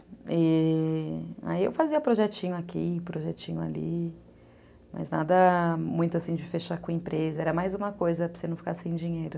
Aí eu fazia projetinho aqui, projetinho ali, mas nada muito assim de fechar com a empresa, era mais uma coisa para você não ficar sem dinheiro.